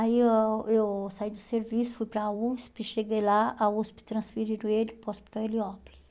Aí eu eu saí do serviço, fui para a USP, cheguei lá, a USP transferiram ele para o Hospital Heliópolis.